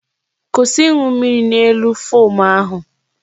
Kwụsị ịṅụ mmiri n'elu fom ahụ!